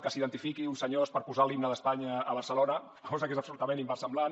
que s’identifiquin uns senyors per posar l’himne d’espanya a barcelona cosa que és absolutament inversemblant